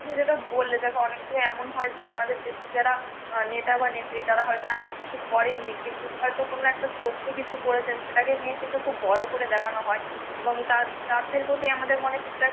তুমি যেটা বললে দেখো এমন হয় যে আমাদের দেশে যারা নেতা বা নেত্রী তারা হয়তো এমন কিছু করেন নি কিন্তু হয়তো কোনো একটা ছোট্ট কিছু করেছেন সেটা কে নিয়ে কিন্তু খুব বড়ো করে দেখানো হয় এবং তার তাদের প্রতি আমাদের মনে কিন্তু